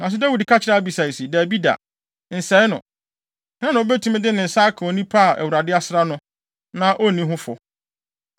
Nanso Dawid ka kyerɛɛ Abisai se, “Dabi da, nsɛe no. Hena na obetumi de ne nsa aka onipa a Awurade asra no, na onni ho fɔ?